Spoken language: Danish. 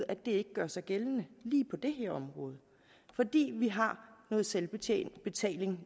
at det ikke gør sig gældende lige på det her område fordi vi har noget selvbetaling